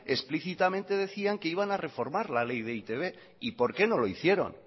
explícitamente decían que iban a reformar la ley de e i te be y por qué no lo hicieron